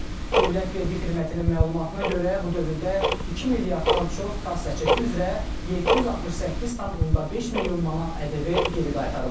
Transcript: Dövlət Vergi Xidmətinin məlumatına görə bu dövrdə 2 milyarddan çox kassa çəki üzrə 768,5 milyon manat ƏDV geri qaytarılıb.